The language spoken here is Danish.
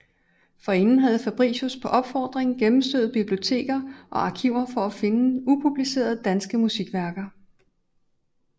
Forinden havde Fabricius på opfordring gennemstøvet biblioteker og arkiver for at finde upublicerede danske musikværker